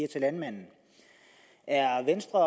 landmanden er venstre